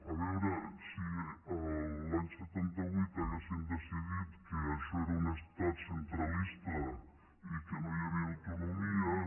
a veure si l’any setanta vuit haguéssim decidit que això era un estat centralista i que no hi havia autonomies